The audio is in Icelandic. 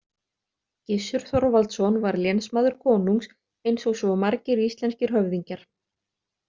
Gissur Þorvaldsson var lénsmaður konungs, eins og svo margir íslenskir höfðingjar.